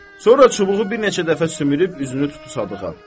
Sonra çubuğu bir neçə dəfə sümürüb üzünü tutdu Sadığa.